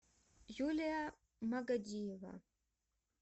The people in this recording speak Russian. юлия магадиева